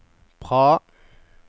Praha